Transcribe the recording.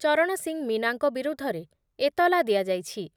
ଚରଣ ସିଂ ମୀନାଙ୍କ ବିରୁଦ୍ଧରେ ଏତଲା ଦିଆଯାଇଛି ।